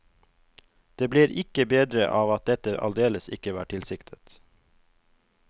Det blir ikke bedre av at dette aldeles ikke var tilsiktet.